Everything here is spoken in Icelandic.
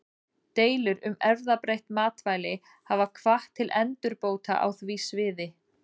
Deilur um erfðabreytt matvæli hafa hvatt til endurbóta á því sviði.